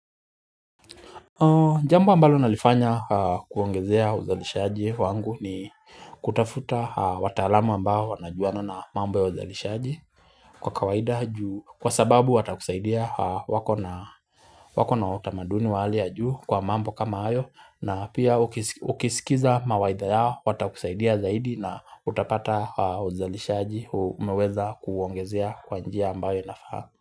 Jambo ambalo nalifanya kuongezea uzalishaji wangu ni kutafuta wataalamu ambao wanajuana na mambo ya uzalishaji kwa kawaida kwa sababu watakusaidia wako na wako na utamaduni wa hali ya juu kwa mambo kama hayo na pia ukisikiza mawaidha yao watakusaidia zaidi na utapata uzalishaji umeweza kuongezea kwa njia ambayo inafaa.